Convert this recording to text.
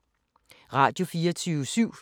Radio24syv